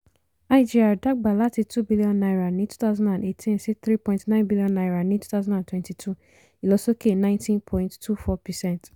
igr dàgbà láti two billion naira ní twenty eighteen sí three point nine billion naira ní twenty twenty two ìlọ̀sókè ninety point two four percent